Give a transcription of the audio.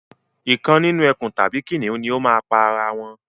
Ìkan nínú ẹkùn tàbí kìnìún ni o máa pa ara wọn